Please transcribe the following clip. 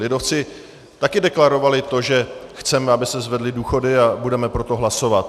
Lidovci tady deklarovali to, že chceme, aby se zvedly důchody, a budeme pro to hlasovat.